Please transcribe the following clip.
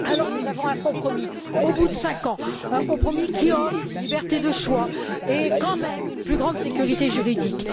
Nous avons un compromis au bout de cinq ans qui offre une liberté de choix et, quand même, une plus grande sécurité juridique.